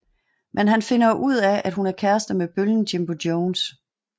Men han finder ud af at hun er kæreste med bøllen Jimbo Jones